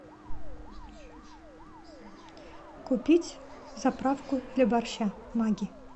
купить заправку для борща магги